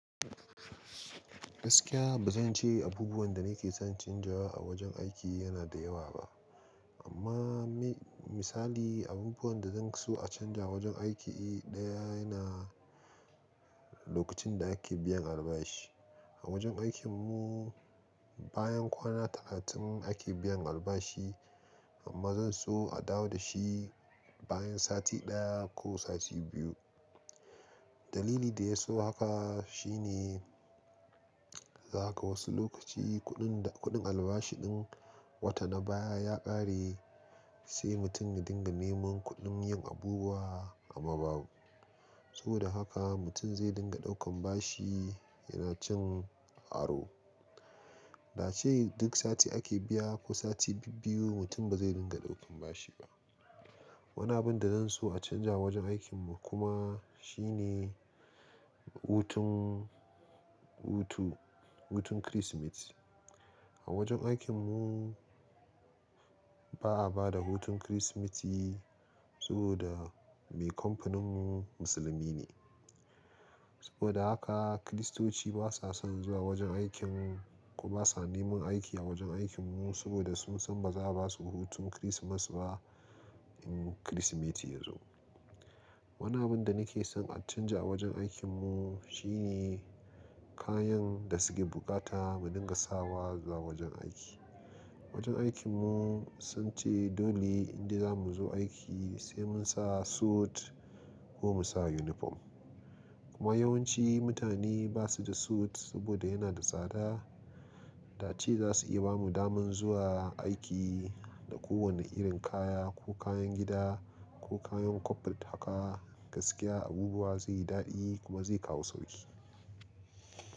Gaskiya ba zan ce abubuwan da nake son canjawa a wajen aiki yana da yawa ba amma misali abubuwan da zan so a canja wajen aiki ɗaya yana lokacin da ake biyan albashi. A wajen aikin mu bayan kwana talatin ake biyan albashi amma zan so a dawo da shi bayan sati ɗaya ko sati biyu. Dalili da ya so haka shine don haka wasu lokaci kudin A wajen aikin mu bayan kwana talatin ake biyan albashi sai mutum ya dinga neman kuɗin yin abubuwa amma babu. Saboda haka mutum zai dinga daukan bashi yana cin aro Daace duk sati ake biya zaka wasu lokaci kuɗin da kuɗin albashi ɗin wata na baya ya ƙare wani abu da zan so a canza a wajen aikin mu kuma. Shine hutun, hutu, hutun Kirsimeti. A wajen aikin mu baa bada hutun kirsimeti saboda mai kamfanin mumusulmi ne saboda haka kiristoci basa son zuwa wajen aikin mu ko basa neman aiki a wajen aikin mu saboda sun san bazaa basu ba hutun kirismasba in kirismeti yazo Wani abun da nake son a canja a wajen aikin mu shine kayan da suke buƙata mu dinga sawa zuwa wajen aiki. Wajen aikin mu sunce dole inde zamu zo aiki sai mun sa sut ko musa uniforn kuma yawanci mutane basu da sut saboda yana da tsada da ace zasu iya bamu daman zuwa aiki da kowanne irin kaya ko kayan gida ko kayan koful haka gaskiya abubuwa zaiyi dadi kuma zai kawo sauki.